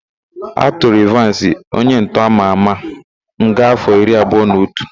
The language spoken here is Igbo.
A tụrụ Ịvansị, onyentọ ama ama nga áfọ̀ iri abụọ na otu.